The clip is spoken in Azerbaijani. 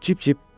Cip-cip!